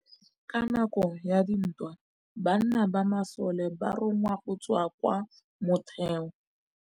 Ka nakô ya dintwa banna ba masole ba rongwa go tswa kwa mothêô.